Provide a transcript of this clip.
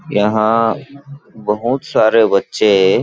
यहाँ बहुत सारे बच्चे--